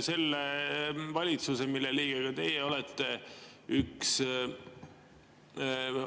Selle valitsuse, mille liige ka teie olete, üks